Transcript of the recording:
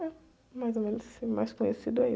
É mais ou menos assim, mais conhecido aí